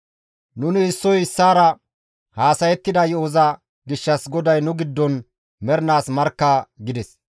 Nuni issoy issaara haasayettida yo7oza gishshas GODAY nu giddon mernaas markka» gides.